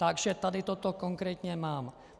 Takže tady toto konkrétně mám.